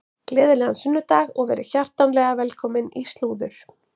Gleðilegan sunnudag og verið hjartanlega velkomin í slúður.